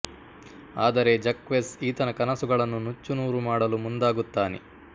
ಆದರೆ ಜಕ್ವೆಸ್ ಈತನ ಕನಸುಗಳನ್ನು ನುಚ್ಚು ನೂರು ಮಾಡಲು ಮುಂದಾಗುತ್ತಾನೆ